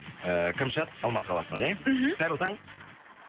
ыыы кәмшат алматы қаласынан иә мхм қайырлы таң